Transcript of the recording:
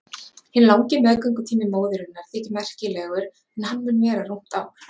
Hinn langi meðgöngutími móðurinnar þykir merkilegur en hann mun vera rúmt ár.